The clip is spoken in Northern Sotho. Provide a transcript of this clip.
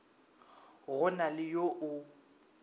go na le yo o